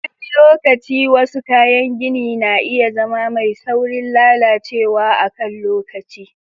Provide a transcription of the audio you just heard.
Wani lokaci, wasu kayan gini na iya zama mai saurin lalacewa a kan lokaci.